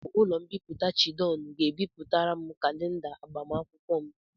Ọ bụ ụlọ mbipụta Chidon ga-ebịpụtara m kalenda agbamakwụkwọ m.